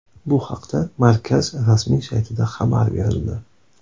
Bu haqda markaz rasmiy saytida xabar berildi.